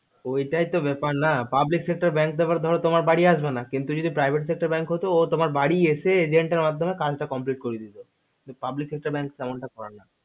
এটাই তো ব্যাপার না public sector bank তোমার বাড়ি আসবে না কিন্ত privet sector bank ও তোমার বাড়ি এসে agent মাধ্যমে complete করে দিত কিন্ত public sector bank তো এমন টা করে না